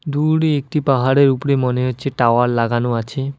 দূরে একটি পাহাড়ের উপরে মনে হচ্ছে টাওয়ার লাগানো আছে।